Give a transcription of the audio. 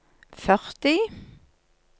førti